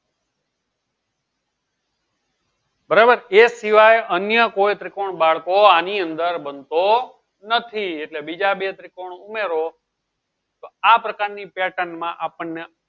બરાબર એક શિવાય અન્ય કોઈ ત્રિકોણ બાળકો આની અંદર બનતો નથી એટલે બીજા બે ત્રિકોણ ઉમેરો તો આ પ્રકાર ની pattern મા આપણ ને